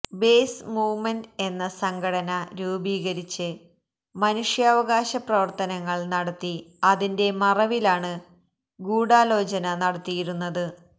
base movement എന്ന സംഘടന രൂപീകരിച്ച് മനുഷ്യാവകാശ പ്രവര്ത്തനങ്ങള് നടത്തി അതിന്റെ മറവിലാണ് ഗൂഢാലോചന നടത്തിയിരുന്നത്